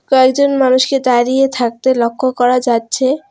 কয়েকজন মানুষকে দাঁড়িয়ে থাকতে লক্ষ করা যাচ্ছে।